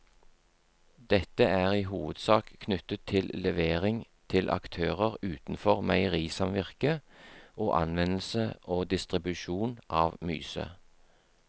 Dette er i hovedsak knyttet til levering til aktører utenfor meierisamvirket og anvendelse og distribusjon av myse.